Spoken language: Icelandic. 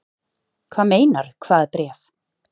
Hvað meinarðu. hvaða bréf?